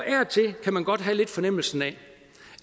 kan man godt lidt have en fornemmelse af